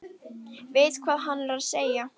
Veit hvað hann er að segja.